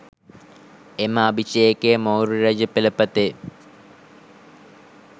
එම අභිෂේකය මෞර්ය රජ පෙළපතේ